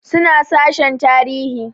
Suna sashen tarihi